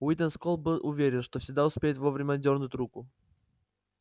уидон скотт был уверен что всегда успеет вовремя отдёрнуть руку